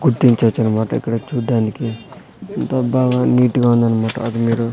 గుర్తించొచ్చు అన్నమాట ఇక్కడ చూడ్డానికి ఎంత బాగా నీట్ గా ఉందన్నమాట అది మీరు.